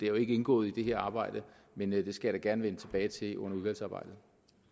jo ikke indgået i det her arbejde men det skal jeg da gerne vende tilbage til under udvalgsarbejdet